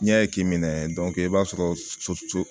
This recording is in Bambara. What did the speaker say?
N'i y'a k'i minɛ i b'a sɔrɔ